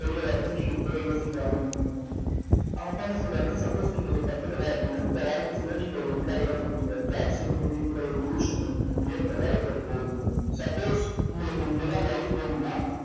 வெளிய வர்றதுன்னு நீங்க இப்பவே யோசிக்க ஆரம்பிக்கணும். அவங்க அப்பா என்ன சொல்றாருன்னா suppose நீங்க இதை கத்துக்கல அப்படின்னா உங்க வாழ்க்கை full ஆ நீங்க ஒரு employee ஆ தான் இருப்பீங்க job security ன்ற ஒரு illusion லயே உங்க வாழ்க்கை போகும். suppose உங்களுக்கு இப்படித்தான் life வேணும்னா